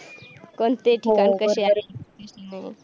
कोणते ठिकाण कसे आहे. हो बरोबर आहे.